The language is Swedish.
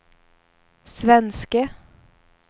svenske